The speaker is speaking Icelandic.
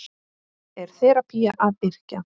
Er þerapía að yrkja?